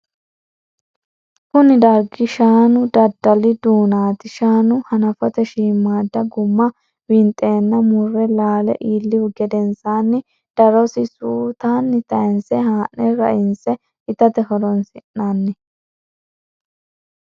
kuni dargi shaanu daddali duunati. shaanu hanafote shiimadda gumma winxenna mure laale iilihu gedensanni darosi suutunni tayinse haa'ne rainse itate horonsi'nanni.